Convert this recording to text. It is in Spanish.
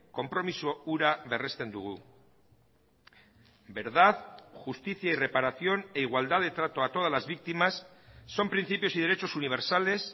konpromiso hura berresten dugu verdad justicia y reparación e igualdad de trato a todas las víctimas son principios y derechos universales